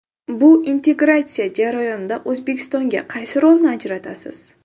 Bu integratsiya jarayonida O‘zbekistonga qaysi rolni ajratasiz?